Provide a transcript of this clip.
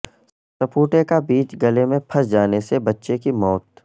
سپوٹے کا بیج گلے میں پھنس جانے سے بچے کی موت